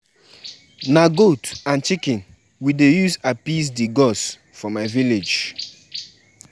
Una know say I no dey like dull moment, I dey go music school during the holiday.